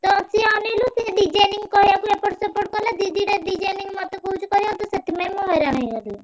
ତ ସିଏ ଅନେଇଲୁ ସିଏ design କହିଆକୁ ଏପଟ ସେପଟ କଲା। ଦି ଦିଟା design ମତେ କହୁଛି କରିଆକୁ ତ ସେଥିପାଇଁ ମୁଁ ହଇରାଣ ହେଇଗଲି।